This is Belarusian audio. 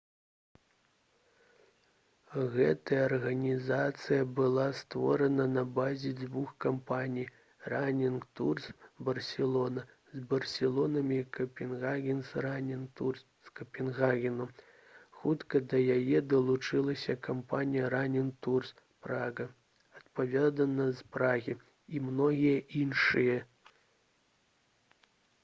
гэтая арганізацыя была створана на базе дзвюх кампаній «ранінг турс барселона» з барселоны і «капенгагенс ранінг турс» з капенгагену. хутка да яе далучылася кампанія «ранінг турс прага» адпаведна з прагі і многія іншыя